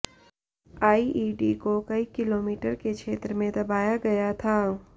IED को कई kilometre के क्षेत्र में दबाया गया था